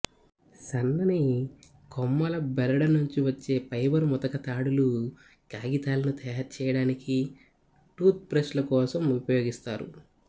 సన్నని కొమ్మల బెరడు నుండి వచ్చే ఫైబర్ ముతక తాడులు కాగితాలను తయారు చేయడానికి టూత్ బ్రష్ల కోసం ఉపయోగిస్తారు